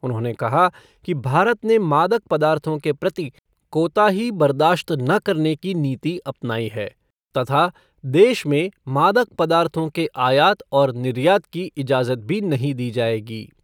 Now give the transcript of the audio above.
उन्होंने कहा कि भारत ने मादक पदार्थों के प्रति कोताही बर्दाश्त न करने की नीति अपनाई है तथा देश में मादक पदार्थों के आयात और निर्यात की इजाज़त भी नहीं दी जाएगी।